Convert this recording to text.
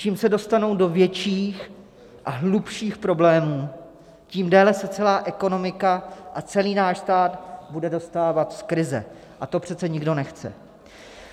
Čím se dostanou do větších a hlubších problémů, tím déle se celá ekonomika a celý náš stát bude dostávat z krize, a to přece nikdo nechce.